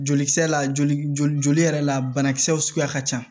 Jolikisɛ la joli yɛrɛ la banakisɛw suguya ka ca